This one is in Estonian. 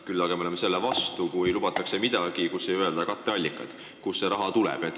Küll aga oleme selle vastu, et lubatakse midagi, mille puhul ei öelda katteallikaid, kust vajalik raha tuleb.